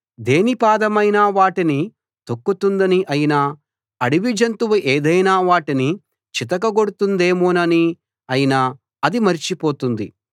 దేని పాదమైనా వాటిని తొక్కుతుందని అయినా అడవిజంతువు ఏదైనా వాటిని చితకగొడుతుందేమోనని అయినా అది మర్చిపోతుంది